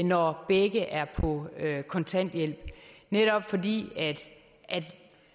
når begge er på kontanthjælp netop fordi